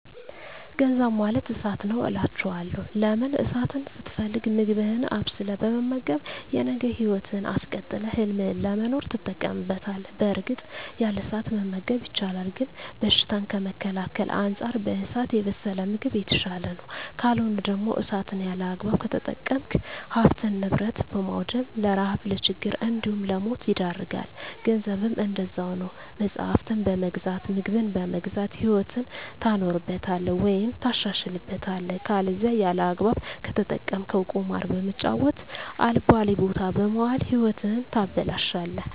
ገንዘብ ማለት እሳት ነዉ አላቸዋለሁ። ለምን እሳትን ስትፈልግ ምግብህን አብስለህ በመመገብ የነገ ህይወትህን አስቀጥለህ ህልምህን ለመኖር ትጠቀምበታለህ በእርግጥ ያለ እሳት መመገብ ይቻላል ግን በሽታን ከመከላከል አንፃር በእሳት የበሰለ ምግብ የተሻለ ነዉ። ካልሆነ ደግሞ እሳትን ያለአግባብ ከተጠቀምክ ሀብትን ንብረት በማዉደም ለረሀብ ለችግር እንዲሁም ለሞት ይዳርጋል። ገንዘብም እንደዛዉ ነዉ መፅሀፍትን በመግዛት ምግብን በመግዛት ህይወትህን ታኖርበታለህ ወይም ታሻሽልበታለህ ከለዛ ያለአግባብ ከተጠቀምከዉ ቁማር በመጫወት አልባሌ ቦታ በመዋል ህይወትህን ታበላሸለህ።